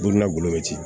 Donna golo be ci